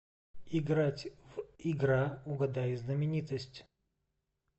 играть в игра угадай знаменитость